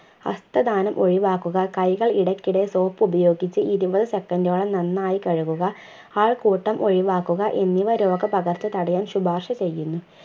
ഹസ്‌തദാനം ഒഴിവാക്കുക കൈകൾ ഇടക്കിടെ soap ഉപയോഗിച്ചു ഇരുപത് second ഓളം നന്നായി കഴുകുക ആൾക്കൂട്ടം ഒഴിവാക്കുക എന്നിവ രോഗപകർച്ച തടയാൻ ശുപാർശ ചെയ്യുന്നു